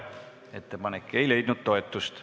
Ettepanek ei leidnud toetust.